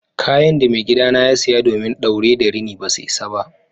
Kayan de maigida na ya siya domin daure da rini basa isa ba.